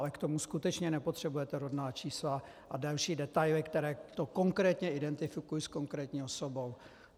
Ale k tomu skutečně nepotřebujete rodná čísla a další detaily, které to konkrétně identifikují s konkrétní osobou.